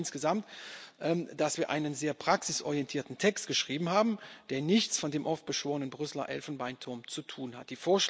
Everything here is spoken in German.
Ich freue mich insgesamt, dass wir einen sehr praxisorientierten Text geschrieben haben, der nichts mit dem oft beschworenen Brüsseler Elfenbeinturm zu tun hat.